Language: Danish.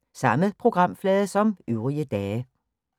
Samme programflade som øvrige dage